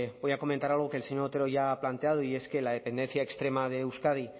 voy a comentar algo que el señor otero ya ha planteado y es que la dependencia extrema de euskadi